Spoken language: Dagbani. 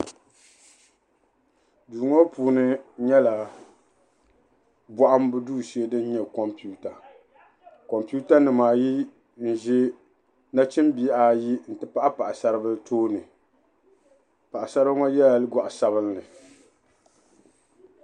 Duu ŋɔ puuni nyɛla bɔhimbu duu shee din nyɛ kompiwuta kompiwutanima ayi n-ʒe Nachimbihi ayi nti pahi paɣisaribila tooni paɣisaribila ŋɔ yela gɔɣ'sabinli.